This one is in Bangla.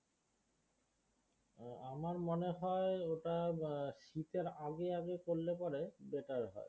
আমার মনে হয় ওটা হম শীতের আগে আগে করলে পরে better হয়